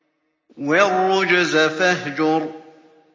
وَالرُّجْزَ فَاهْجُرْ